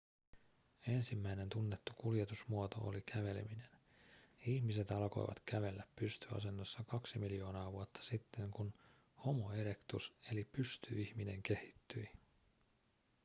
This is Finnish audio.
ensimmäinen tunnettu kuljetusmuoto oli käveleminen. ihmiset alkoivat kävellä pystyasennossa kaksi miljoonaa vuotta sitten kun homo erectus eli pystyihminen kehittyi